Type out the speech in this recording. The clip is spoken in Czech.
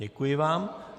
Děkuji vám.